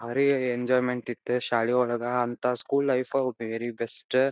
ಬಾರಿ ಎಂಜೋಯ್ಮೆಂಟ್ ಇತ್ ಶಾಲಿಯೊಳಗ ಅಂತ ಸ್ಕೂಲ್ ಲೈಫ್ವೆರಿ ಬೆಸ್ಟ್ --